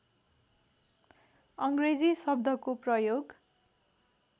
अङ्ग्रेजी शब्दको प्रयोग